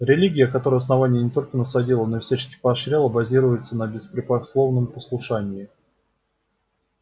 религия которую основание не только насадило но и всячески поощряло базируется на беспрекословном послушании